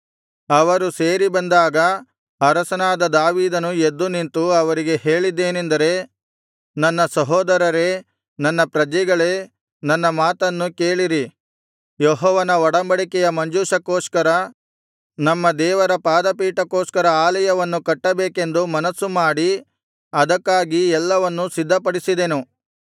ಅವರು ಸೇರಿ ಬಂದಾಗ ಅರಸನಾದ ದಾವೀದನು ಎದ್ದು ನಿಂತು ಅವರಿಗೆ ಹೇಳಿದ್ದೇನೆಂದರೆ ನನ್ನ ಸಹೋದರರೇ ನನ್ನ ಪ್ರಜೆಗಳೇ ನನ್ನ ಮಾತನ್ನು ಕೇಳಿರಿ ಯೆಹೋವನ ಒಡಂಬಡಿಕೆಯ ಮಂಜೂಷಕ್ಕೋಸ್ಕರ ನಮ್ಮ ದೇವರ ಪಾದಪೀಠಕ್ಕೋಸ್ಕರ ಆಲಯವನ್ನು ಕಟ್ಟಬೇಕೆಂದು ಮನಸ್ಸು ಮಾಡಿ ಅದಕ್ಕಾಗಿ ಎಲ್ಲವನ್ನೂ ಸಿದ್ಧಪಡಿಸಿದೆನು